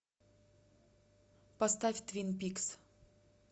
поставь твин пикс